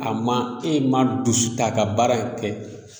A ma e ma dusu ta ka baara in kɛ